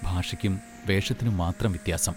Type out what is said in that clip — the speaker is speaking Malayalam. ഭാഷയ്ക്കും വേഷത്തിനും മാത്രം വ്യത്യാസം.